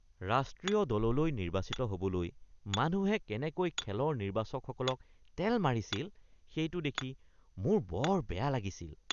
ৰাষ্ট্ৰীয় দললৈ নিৰ্বাচিত হ'বলৈ মানুহে কেনেকৈ খেলৰ নিৰ্বাচকসকলক তেল মাৰিছিল সেইটো দেখি মোৰ বৰ বেয়া লাগিছিল